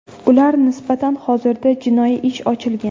Ular nisbatan hozirda jinoiy ish ochilgan.